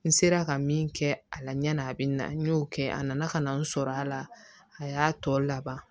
N sera ka min kɛ a la ɲana a bɛ na n y'o kɛ a nana ka na n sɔrɔ a la a y'a tɔ laban